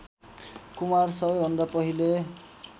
कुमार सबैभन्दा पहिले